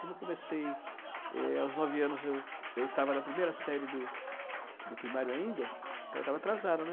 Como eu comecei é aos nove anos, eu eu estava na primeira série do primário ainda, então eu estava atrasado, né?